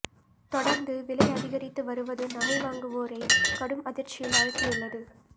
தொடர்ந்து விலை அதிகரித்து வருவது நகை வாங்குவோரை கடும் அதிர்ச்சியில் ஆழ்த்தியுள்ளது